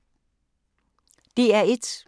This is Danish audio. DR1